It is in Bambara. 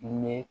Ɲɛ